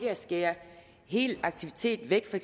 at skære hele aktiviteten væk for